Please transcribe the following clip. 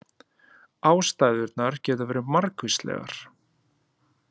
Ástæðurnar geta verið margvíslegar.